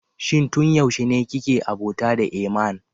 Shin tun yaushe ne kike abota da Eeman?